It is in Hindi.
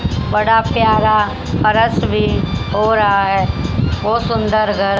बड़ा प्यारा फर्श भी हो रहा है बहुत सुंदर घर--